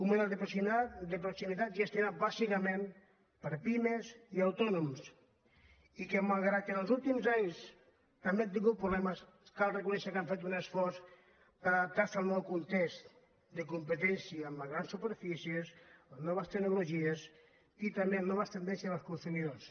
un model de proximi·tat gestionat bàsicament per pimes i autònoms i que malgrat que en els últims anys també han tingut pro·blemes cal reconèixer que han fet un esforç per adap·tar·se al nou context de competència amb les grans superfícies les noves tecnologies i també les noves tendències dels consumidors